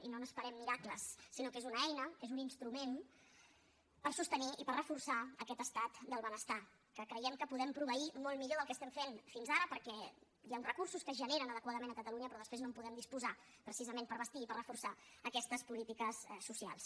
i no n’esperem miracles sinó que és una eina és un instrument per sostenir i per reforçar aquest estat del benestar que creiem que podem proveir molt millor del que ho fem fins ara perquè hi ha uns recursos que es generen adequadament a catalunya però després no en podem disposar precisament per bastir i per reforçar aquestes polítiques socials